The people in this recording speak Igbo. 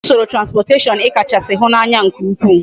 Kedu usoro transportation ikacha si hu na anya nke ukwu?